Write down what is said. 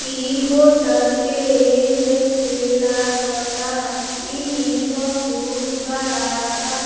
ई होटल के जैसे लागता। ई बहोत बड़ा बा।